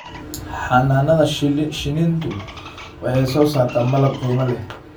Xannaanada shinnidu waxay soo saartaa malab qiimo leh.